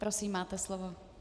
Prosím, máte slovo.